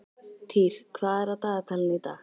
Týr, hvað er á dagatalinu í dag?